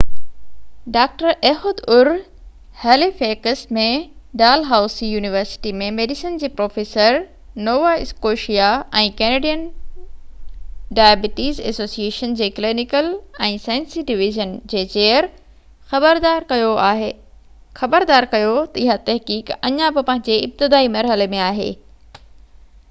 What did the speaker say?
doctor Ehud Ur Halifax ۾ Dalhousie university ۾ medicine جي professor Nova Scotia ۽ Canadian diabetes association جي clinical ۽ سائنسي division جي chair خبردار ڪيو ته اها تحقيق اڃا به پنهنجي ابتدائي مرحلي ۾ آهي